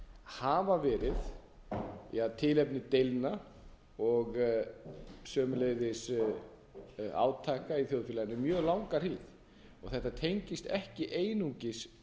hafa verið tilefni deilna og sömuleiðis átaka í þjóðfélaginu um mjög langa hríð og þetta tengist ekki einungis